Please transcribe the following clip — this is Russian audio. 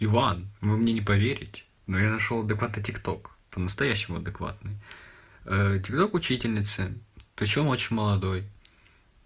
иван вы мне не поверите но я нашёл дукато тикток по-настоящему адекватный тикток учительницы причём очень молодой